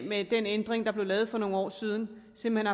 med den ændring der blev lavet for nogle år siden simpelt